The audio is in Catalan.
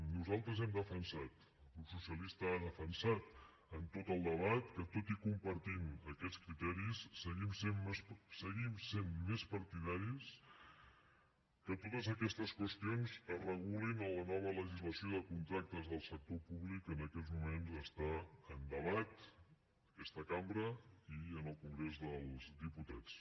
nosaltres hem defensat el grup socialista ha defensat en tot el debat que tot i compartint aquests criteris seguim sent més partidaris que totes aquestes qüestions es regulin en la nova legislació de contractes del sector públic que en aquests moments està en debat en aquesta cambra i en el congrés dels diputats